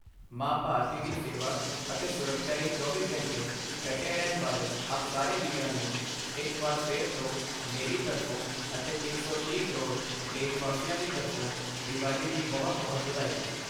ਮਾਂ ਭਾਰਤੀ ਦੀ ਸੇਵਾ ਅਤੇ ਸੁਰੱਖਿਆ ਲਈ ਚੌਵੀਂ ਘੰਟੇ ਡਟੇ ਰਹਿਣ ਵਾਲੇ ਆਪ ਸਾਰੇ ਵੀਰਾਂ ਨੂੰ ਇਕ ਵਾਰ ਫਿਰ ਤੋਂ ਮੇਰੀ ਤਰਫ਼ੋਂ ਅਤੇ ਇਕ ਸੌ ਤੀਹ ਕਰੋੜ ਦੇਸ਼ਵਾਸੀਆਂ ਦੀ ਤਰਫ਼ੋਂ ਦੀਵਾਲੀ ਦੀ ਬਹੁਤ-ਬਹੁਤ ਵਧਾਈ।